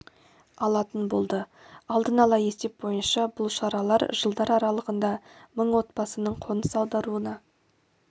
алатын болды алдын ала есеп бойынша бұл шаралар жылдар аралығында мың отбасының қоныс аударуына